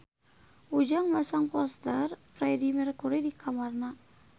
Ujang masang poster Freedie Mercury di kamarna